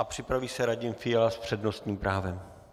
A připraví se Radim Fiala s přednostním právem.